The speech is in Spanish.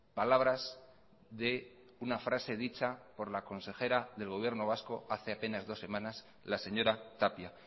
palabras de una frase dichapor la consejera del gobierno vasco hace apenas dos semanas la señora tapia